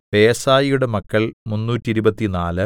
ബേസായിയുടെ മക്കൾ മുന്നൂറ്റിരുപത്തിനാല്